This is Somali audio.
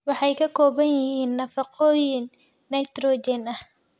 Waxay ka kooban yihiin nafaqooyin nitrogen ah.